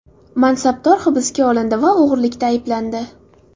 Mansabdor hibsga olindi va o‘g‘irlikda ayblandi.